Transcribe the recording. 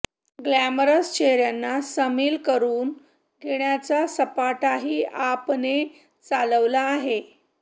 glamorous चेहऱ्यांना सामिल करून घेण्याचा सपाटाही आपने चालवला आहे